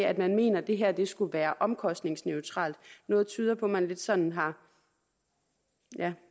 at man mener at det her skulle være omkostningsneutralt noget tyder på at man lidt sådan har